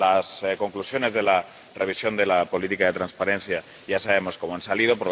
Las conclusiones de la revisión de la política de transparencia ya sabemos cómo han salido.